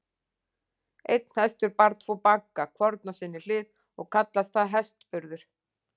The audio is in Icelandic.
Einn hestur bar tvo bagga, hvorn á sinni hlið, og kallaðist það hestburður.